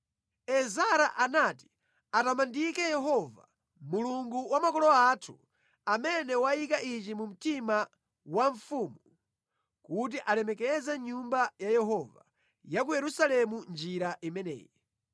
Ezara anati atamandike Yehova, Mulungu wa makolo athu, amene wayika ichi mu mtima wa mfumu kuti alemekeze Nyumba ya Yehova ya ku Yerusalemu mʼnjira imeneyi.